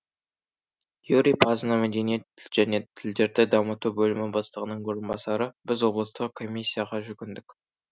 юрий пазына мәдениет және тілдерді дамыту бөлімі бастығының орынбасары біз облыстық комиссияға жүгіндік